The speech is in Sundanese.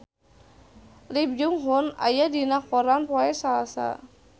Lee Byung Hun aya dina koran poe Salasa